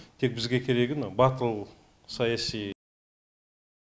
тек бізге керегі мынау батыл саяси